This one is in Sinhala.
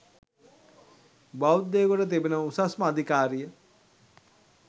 බෞද්ධයෙකුට තිබෙන උසස්ම අධිකාරිය